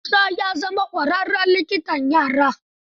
Musa ya zama ƙwaraarren likitan yara.